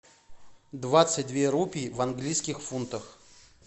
двадцать две рупи в английских фунтах